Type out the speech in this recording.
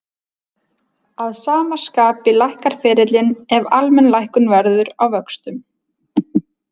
Að sama skapi lækkar ferillinn ef almenn lækkun verður á vöxtum.